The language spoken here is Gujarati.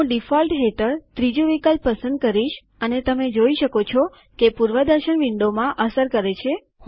હું ડીફોલ્ટ હેઠળ ત્રીજુ વિકલ્પ પસંદ કરીશ અને તમે જોઈ શકો છો કે તે પૂર્વદર્શન વિન્ડોમાં અસર કરે છે